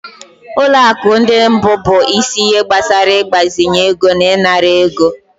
Ụlọ akụ ndị mbụ bụ isi ihe gbasara ịgbazinye ego na ịnara ego.